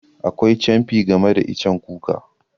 Akwai camfi game da icen kuka.